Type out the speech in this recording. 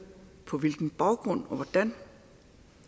på hvilken baggrund og hvordan